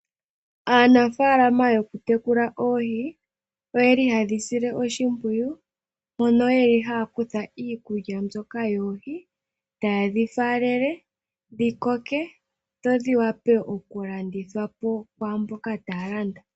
Aanafaalama yokutekula oohi, oye li haye dhi sile oshimpwiyu, mono ye li haya kutha iikulya mbyoka yoohi, taye dhi faalele dhi koke, dho dhiwape okulandithwa po kwaamboka taya landa.